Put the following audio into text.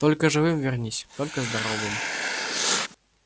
только живым вернись только здоровым